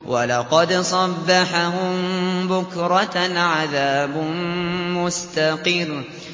وَلَقَدْ صَبَّحَهُم بُكْرَةً عَذَابٌ مُّسْتَقِرٌّ